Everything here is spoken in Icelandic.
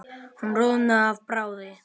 Hún roðnaði af bræði.